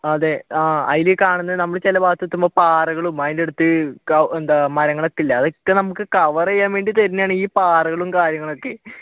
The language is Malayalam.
അതെ നമ്മൾ ചിലഭാഗത്ത് എത്തുമ്പോൾ പാറകളും അതിന്റെയടുത്ത് എന്താ മരങ്ങൾ ഒക്കെയില്ലേ അതൊക്കെ നമക്ക് cover ചെയ്യാൻ വേണ്ടി തരുന്നയാണ് ഈ പാറകളും കാര്യങ്ങളും ഒക്കെ